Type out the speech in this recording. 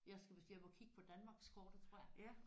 Jeg skal måske hjem og kigge på Danmarkskortet tror jeg